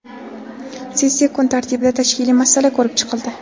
Sessiya kun tartibida tashkiliy masala ko‘rib chiqildi.